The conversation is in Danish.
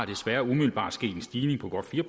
desværre umiddelbart sket en stigning på godt fire